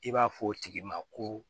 I b'a fɔ o tigi ma ko